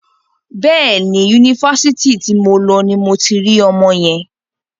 Bẹ́ẹ̀ni, Yunifásitì ti mo lọ ni mo ti rí ọmọ yẹn.